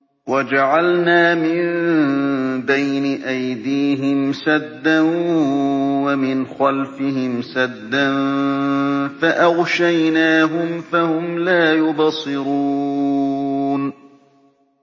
وَجَعَلْنَا مِن بَيْنِ أَيْدِيهِمْ سَدًّا وَمِنْ خَلْفِهِمْ سَدًّا فَأَغْشَيْنَاهُمْ فَهُمْ لَا يُبْصِرُونَ